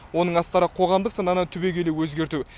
оның астары қоғамдық сананы түбегейлі өзгерту